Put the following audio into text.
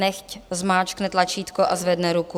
Nechť zmáčkne tlačítko a zvedne ruku.